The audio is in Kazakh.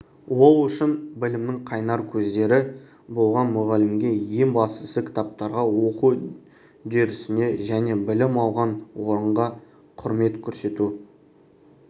ол үшін білімнің қайнар көздері болған мұғалімге ең бастысы кітаптарға оқу үдерісіне және білім алған орынға құрмет көрсету